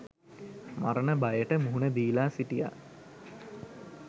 මරණ බයට මුහුණ දීලා සිටියා.